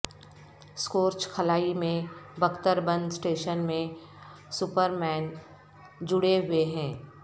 scorch خلائی میں بکتر بند اسٹیشن میں سپرمین جڑے ہوئے ہیں